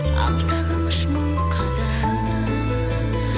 ал сағыныш мың қадам